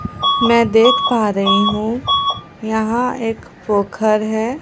मैं देख पा रही हु यहां एक पोखर है।